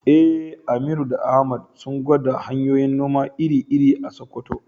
Eh, Aminu da Ahmad sun gwada hanyoyin noma iri-iri a Sakkwato.